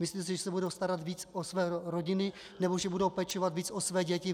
Myslíte si, že se budou starat víc o své rodiny nebo že budou pečovat víc o své děti?